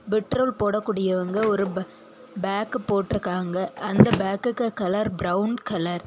Petrol போட கூடியவங்க ஒரு பே பேக் போட்ருக்காங்க அந்த பேகுக்கு கலர் பிரவுன் கலர் .